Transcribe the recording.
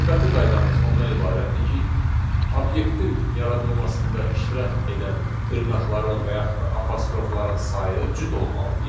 Növbəti qaydamız ondan ibarətdir ki, obyektin yaradılmasında iştirak edən dırnaqların və yaxud da apostrofların sayı cüt olmalıdır.